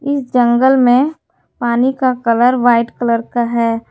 इस जंगल में पानी का कलर वाइट कलर का है।